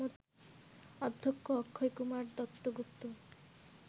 অধ্যক্ষ অক্ষয়কুমার দত্তগুপ্ত